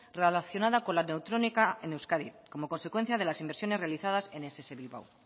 relacionada con la neutrónica en euskadi como consecuencia de las inversiones realizadas en ess bilbao